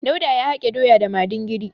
Dauda ya hake doya da madingiri.